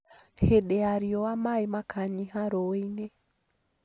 Hĩndĩ ya riũa maaĩ makanyiha rũũi-inĩ